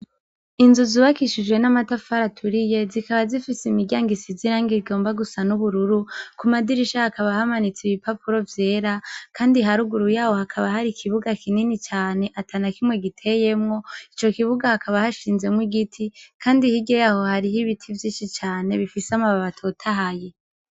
Inzu zubakishijwe n'amatafari aturiye ,zikaba zifise imiryango isize irangi rigomba gusa n'ubururu ,kumadirisha hakaba hamanitse ibipapuro vyera, andi haruguru yaho hakaba hari ikibuga kinini cane atanakimwe giteyemwo, ico kibuga hakaba hashinzemwo igiti ,kandi hirya yaho hariho ibiti vyinshi cane ,bifise amababi atotahaye.